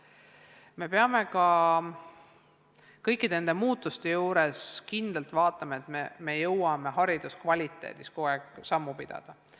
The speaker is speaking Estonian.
Me peame ka kõigi nende muutuste puhul kindlalt vaatama, et me jõuame hariduse kvaliteedis kogu aeg sammu pidada.